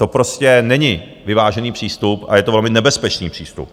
To prostě není vyvážený přístup a je to velmi nebezpečný přístup.